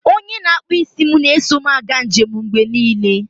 onye na-akpụ isi m na-eso m aga njem mgbe niile